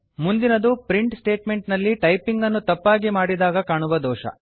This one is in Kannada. ಮುಂದಿನದು ಪ್ರಿಂಟ್ ಸ್ಟೇಟ್ಮೆಂಟ್ ನಲ್ಲಿ ಟೈಪಿಂಗ್ ಅನ್ನು ತಪ್ಪಾಗಿ ಮಾಡಿದಾಗ ಕಾಣುವ ದೋಷ